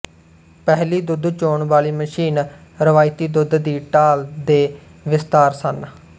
ਪਹਿਲੀ ਦੁੱਧ ਚੋਣ ਵਾਲੀ ਮਸ਼ੀਨ ਰਵਾਇਤੀ ਦੁੱਧ ਦੀ ਢਾਲ ਦੇ ਵਿਸਥਾਰ ਸਨ